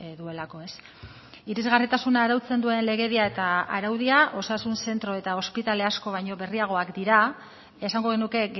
duelako irisgarritasuna arautzen duen legedia eta araudia osasun zentro eta ospitale asko baino berriagoak dira esango genuke